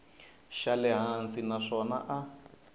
xa le hansi naswona a